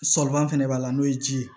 Sɔliban fɛnɛ b'a la n'o ye ji ye